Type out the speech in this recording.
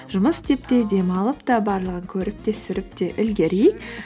жұмыс істеп те демалып та барлығын көріп те сүріп те үлгерейік